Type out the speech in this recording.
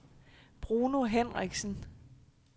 Bruno Henriksen